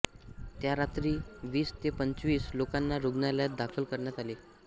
त्या रात्री वीस ते पंचवीस लोकांना रुग्णालयात दाखल करण्यात आले